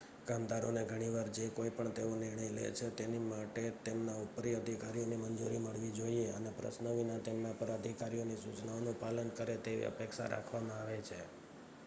કામદારોને ઘણી વાર જે કોઈ પણ તેઓ નિર્ણય લે છે તેની માટે તેમના ઉપરી અધિકારીઓની મંજૂરી મળવી જોઈએ અને પ્રશ્ન વિના તેમના ઉપર અધિકારીઓની સૂચનાઓનું પાલન કરે તેવી અપેક્ષા રાખવામાં આવે છે